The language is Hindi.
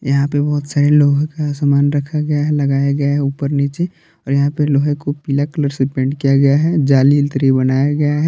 यहां पे बहुत सारे लोगों का सामान रखा गया है लगाया गया ऊपर नीचे और यहां पे लोहे को पीला कलर से पेंट किया गया है जाली बनाया गया है।